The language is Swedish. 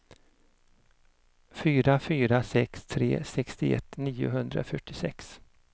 fyra fyra sex tre sextioett niohundrafyrtiosex